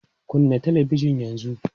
Kunna talabijin yanzu!